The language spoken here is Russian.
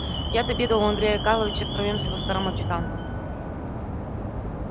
я отобедал у андрея карловича втроём с его старым адъютантом